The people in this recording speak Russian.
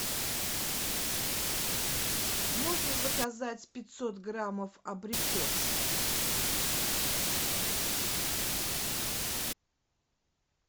можно заказать пятьсот граммов абрикос